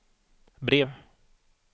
brev